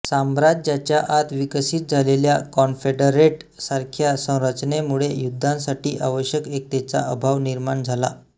साम्राज्याच्या आत विकसित झालेल्या कॉन्फेडरेट सारख्या संरचनेमुळे युद्धांसाठी आवश्यक एकतेचा अभाव निर्माण झाला